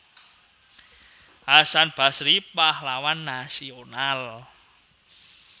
Hasan Basry Pahlawan Nasional